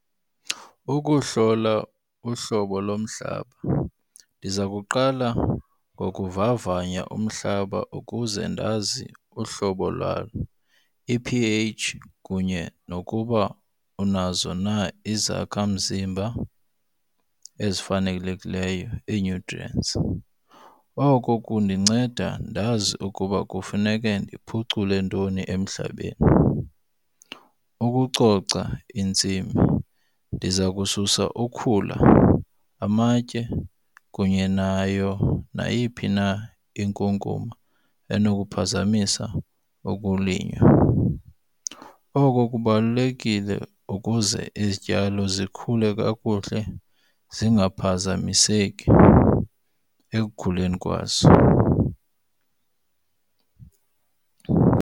Ukuhlola uhlobo lomhlaba. Ndiza kuqala ngokuvavanya umhlaba ukuze ndazi uhlobo lwawo i-P_H kunye nokuba unazo na izakhamzimba ezifanelekileyo ii-nutrients. Oko kundinceda ndazi ukuba kufuneke ndiphucule ntoni emhlabeni. Ukucoca intsimi, ndiza kukususa ukhula amatye kunye nayo nayiphi na inkunkuma enokuphazamisa ukulinywa. Oko kubalulekile ukuze izityalo zikhule kakuhle zingaphazamiseki ekukhuleni kwazo.